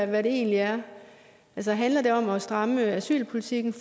hvad det egentlig er altså handler det om at stramme asylpolitikken